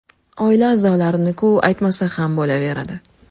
Oila a’zolarini-ku aytmasa ham bo‘laveradi.